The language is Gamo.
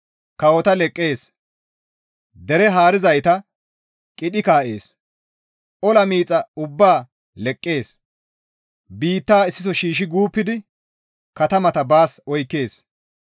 Kawota leqqees; dere haarizayta qidhi kaa7ees; ola miixa ubbaa leqqees; biitta issiso shiishshi guuppidi katamata baas oykkees.